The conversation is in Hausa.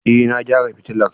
Eh na gyara fitilar.